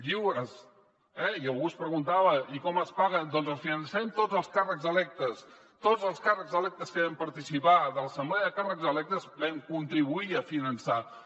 lliures eh i algú es preguntava i com es paguen doncs les financem tots els càrrecs electes tots els càrrecs electes que vam participar en l’assemblea de càrrecs electes vam contribuir a finançar la